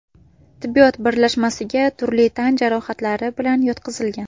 tibbiyot birlashmasiga turli tan jarohatlari bilan yotqizilgan.